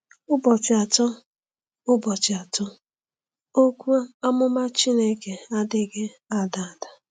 ỤBỌCHỊ ATỌ: ỤBỌCHỊ ATỌ: Okwu Amụma Chineke adịghị ada ada.